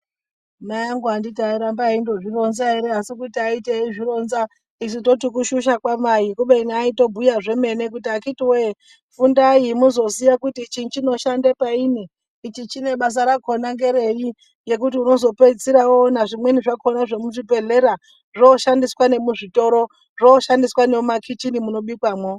Mai angu anditi airamba eyi ndozvi ronza ere asi kuto ayiti eyi ronza isu toti kushusha kwa mai kubeni aito bhuya zvemene kuti akiti wee fundai muzoziya kuti chinhu chino shande paini ichi basa rakona nderei nekuti unozo peesira woona zvimweni zvakona zvemu zvibhedhlera zvo shandiswa nemu zvitoro zvo shandiswa ne muma kicheni muno bikwamo.